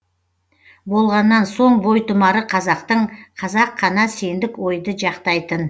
болғаннан соң бойтұмары қазақтың қазақ қана сендік ойды жақтайтын